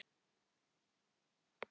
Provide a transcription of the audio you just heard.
Nú var það Þuríður mín.